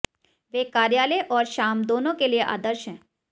वे कार्यालय और शाम दोनों के लिए आदर्श हैं